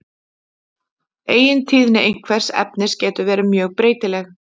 eigintíðni einhvers efnis getur verið mjög breytileg